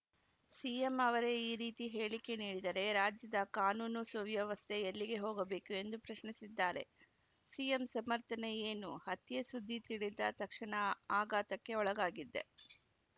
CM ಅವರೇ ಈ ರೀತಿ ಹೇಳಿಕೆ ನೀಡಿದರೆ ರಾಜ್ಯದ ಕಾನೂನು ಸುವ್ಯವಸ್ಥೆ ಎಲ್ಲಿಗೆ ಹೋಗಬೇಕು ಎಂದು ಪ್ರಶ್ನಿಸಿದ್ದಾರೆ ಸಿಎಂ ಸಮರ್ಥನೆ ಏನು ಹತ್ಯೆ ಸುದ್ದಿ ತಿಳಿದ ತಕ್ಷಣ ಆಘಾತಕ್ಕೆ ಒಳಗಾಗಿದ್ದೆ